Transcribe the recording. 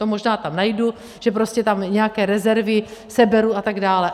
To možná tam najdu, že prostě tam nějaké rezervy seberu a tak dále.